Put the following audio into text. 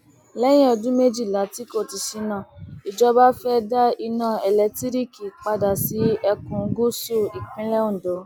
lẹyìn ọdún méjìlá tí kò ti ṣínà ìjọba fẹẹ dá iná elétiríìkì padà sí ẹkùn gúúsù ìpínlẹ ondo